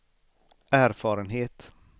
erfarenhet